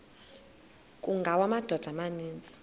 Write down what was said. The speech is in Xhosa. kungawa amadoda amaninzi